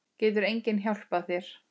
Getur enginn hjálpað þér?